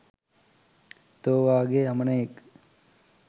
තෝ වාගේ අමනයෙක්